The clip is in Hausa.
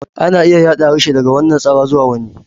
Ana iya yada harshe daga wannan tsara zuwa wani.